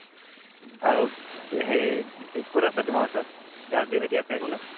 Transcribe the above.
আৰু হেৰি কোন আছে তোমাৰ ওচৰত ৰাজদ্বীপ হেতি আছে